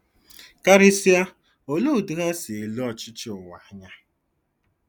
Karịsịa, olee otú ha si ele ọchịchị ụwa anya? '